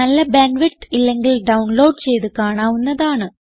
നല്ല bandwidth ഇല്ലെങ്കിൽ download ചെയ്ത് കാണാവുന്നതാണ്